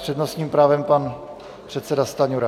S přednostním právem pan předseda Stanjura.